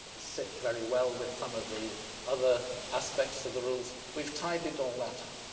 sit very well with some of the other aspects of the rules. We've tidied all that up.